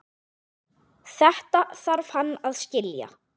Þetta þarf hann að skilja.